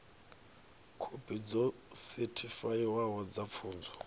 khophi dzo sethifaiwaho dza pfunzo